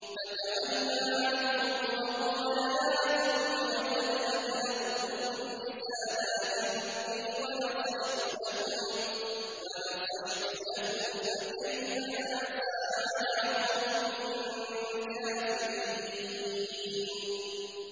فَتَوَلَّىٰ عَنْهُمْ وَقَالَ يَا قَوْمِ لَقَدْ أَبْلَغْتُكُمْ رِسَالَاتِ رَبِّي وَنَصَحْتُ لَكُمْ ۖ فَكَيْفَ آسَىٰ عَلَىٰ قَوْمٍ كَافِرِينَ